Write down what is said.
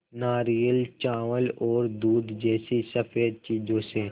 नारियल चावल और दूध जैसी स़फेद चीज़ों से